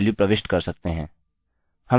हम इसे करेंगे क्योंकि हम टेस्ट कर रहे हैं